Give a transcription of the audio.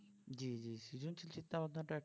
জি জি সৃজনশীল চিন্তা ভাবনা টা